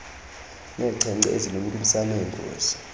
neenkcenkce ezilumkisa ngeengozi